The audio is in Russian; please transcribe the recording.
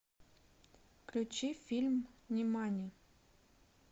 включи фильм нимани